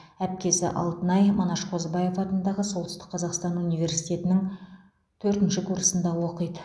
әпкесі алтынай манаш қозыбаев атындағы солтүстік қазақстан университетінің төртінші курсында оқиды